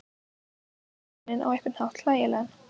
Veðrin gera manninn á einhvern hátt hlægilegan.